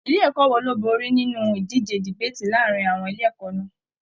Ilé ẹ̀kọ́ wo ló borí nínú ìdíje debaati láàrín àwọn ilé ẹ̀kọ́ náà?